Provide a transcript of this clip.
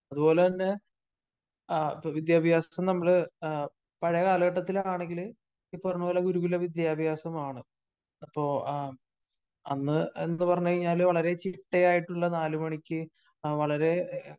അത്പോലെ തന്നെ ആ വിദ്യാഭ്യാസത്തെ നമ്മള് പഴയ കാലഘട്ടത്തില് ആണെങ്കില് ഈ പറഞ്ഞ പോലെ ഗുരുകുലവിദ്യാഭ്യാസമാണ്. അപ്പോ അന്ന് എന്തുപറഞ്ഞു കഴിഞ്ഞാലും വളരെ ചിട്ടയായിട്ടുള്ള നാല് മണിക്ക് വളരെ